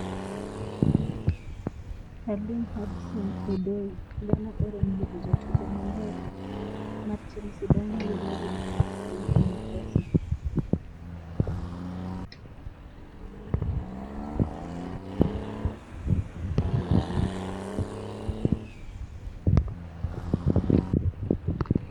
Callum Hudson-Odoi: Ghana orem yudo jatugo ma mabele mar Chelsea bang' yie luong mar piny Ingresa